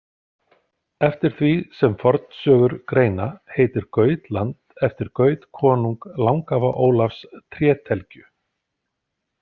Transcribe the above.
Eftir því sem fornsögur greina heitir Gautland eftir Gaut konung langafa Ólafs trételgju.